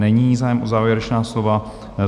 Není zájem o závěrečná slova.